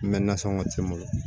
N bɛ nasɔngɔ ci n bolo